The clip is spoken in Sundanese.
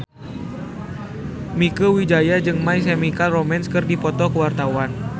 Mieke Wijaya jeung My Chemical Romance keur dipoto ku wartawan